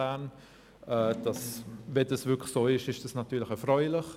Sollte es wirklich so sein, wäre das natürlich erfreulich.